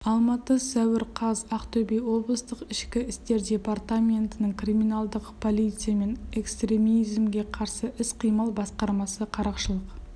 алматы сәуір қаз ақтөбе облыстық ішкі істер департаментінің криминалдық полиция мен экстремизмге қарсы іс-қимыл басқармасы қарақшылық